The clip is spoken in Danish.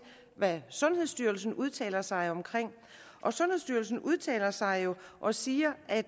hvad sundhedsstyrelsen udtaler sig om og sundhedsstyrelsen udtaler sig jo og siger at